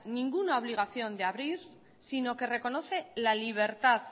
ninguna obligación de abrir sino que reconoce la libertad